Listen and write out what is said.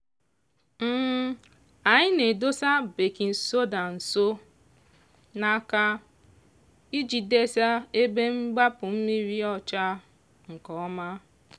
anyị na-edosa bakin soda nso n'aka iji desa ebe mgbapụ mmiri ọcha nke ọma.